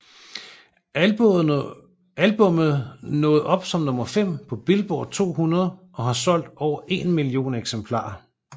Albummet nåede op som nummer fem på Billboard 200 og har solgt over en million eksemplarer